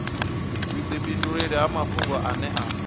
vhudifhinduleli ha mafhungo ane a